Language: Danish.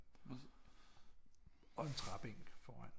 Og en træbænk foran